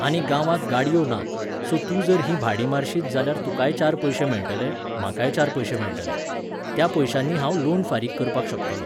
आनी गांवांत गाडयो नात, सो तूं जर ही भाडीं मारशीत जाल्यार तुकाय चार पयशे मेळटले, म्हाकाय चार पयशे मेळटले. त्या पयश्यांनी हांव लोन फारीक करपाक शकतलों.